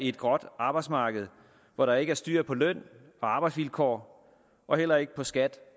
et gråt arbejdsmarked hvor der ikke er styr på løn og arbejdsvilkår og heller ikke på skat